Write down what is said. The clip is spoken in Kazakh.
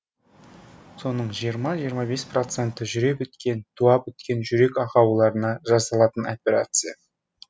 соның жиырма жиырма бес проценті жүре біткен туа біткен жүрек ақауларына жасалатын операция